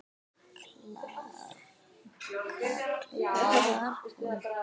kallar hún.